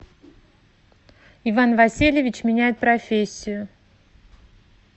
иван васильевич меняет профессию